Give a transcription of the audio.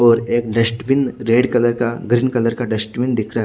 और एक dustbin green colour का डस्टबिन दिख रहा है।